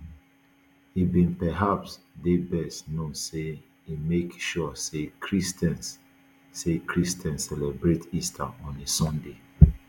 e bin perhaps dey best known say e make sure say christians say christians celebrate easter on a sunday